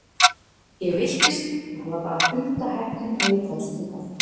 Ég villtist og það var bara hundaheppni að ég komst hingað.